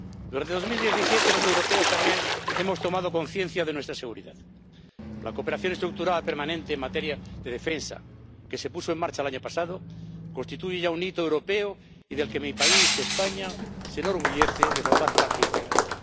Durante 2017 los europeos también hemos tomado conciencia de nuestra seguridad. La cooperación estructurada permanente en materia de defensa que se puso en marcha el año pasado constituye ya un hito europeo y del que mi país, España, se enorgullece de formar parte integrante.